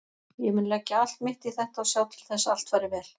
Ég mun leggja allt mitt í þetta og sjá til þess að allt fari vel.